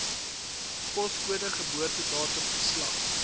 poskode geboortedatum geslag